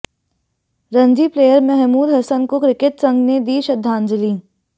Ranji player Mahmood Hasan को cricket संघ ने दी श्रद्धांजलि